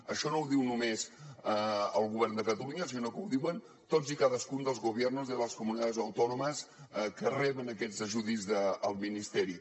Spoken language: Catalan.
això no ho diu només el govern de catalunya sinó que ho diuen tots i cadascun dels gobiernos de las comunidades autónomas que reben aquests ajuts del ministeri